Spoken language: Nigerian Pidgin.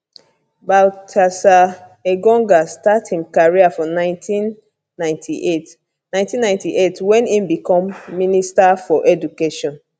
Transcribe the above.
baltasar engonga start im career for 1998 1998 wen im become minister for education